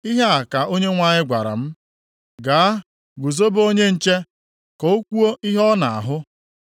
Ihe a ka Onyenwe anyị gwara m, “Gaa, guzobe onye nche, ka o kwuo ihe ọ na-ahụ.